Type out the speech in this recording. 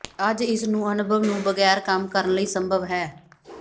ਅੱਜ ਇਸ ਨੂੰ ਅਨੁਭਵ ਨੂੰ ਬਗੈਰ ਕੰਮ ਕਰਨ ਲਈ ਸੰਭਵ ਹੈ